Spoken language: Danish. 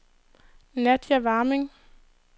Nadja Warming